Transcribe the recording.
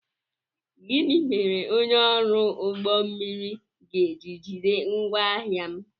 Gịnị mere onye ọrụ ụgbọ mmiri ga-eji jide ngwaahia m?